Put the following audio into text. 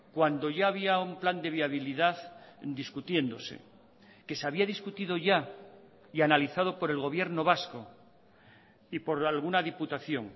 cuando ya había un plan de viabilidad discutiéndose que se había discutido ya y analizado por el gobierno vasco y por alguna diputación